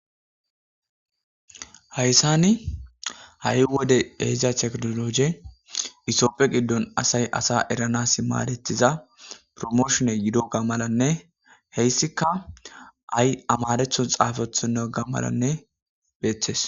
Hayssani ha'i wode ehida teknologe etophphe giddon asay asa eranas maadethiza promooshone yidoga malanne he issika amarathon xaafethonnaga malanne beeththes.